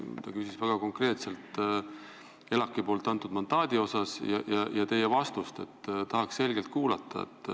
Ta küsis väga konkreetselt ELAK-i antud mandaadi kohta ja teie selget vastust tahakski kuulda.